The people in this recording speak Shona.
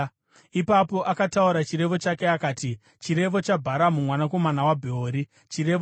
Ipapo akataura chirevo chake akati: “Chirevo chaBharamu mwanakomana waBheori, chirevo chaiye anoona zvakajeka,